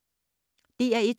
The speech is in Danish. DR1